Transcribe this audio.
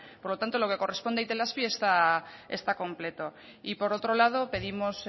por lo tanto lo que corresponde a itelazpi está completo y por otro lado pedimos